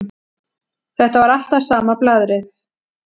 Þetta var alltaf sama blaðrið.